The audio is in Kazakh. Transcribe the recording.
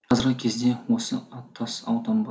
қазіргі кезде осы аттас аудан бар